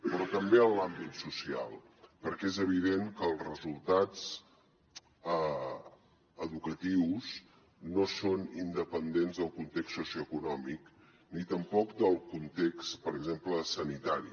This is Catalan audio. però també en l’àmbit social perquè és evident que els resultats educatius no són independents del context socioeconòmic ni tampoc del context per exemple sanitari